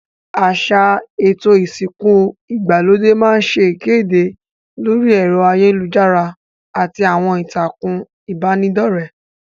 Àsà èto ìsìnku ìgbàlódé ma n se ìkédè lórí èro ayélujárá àti àwon ìtàkùn ìbànidọ́rẹ́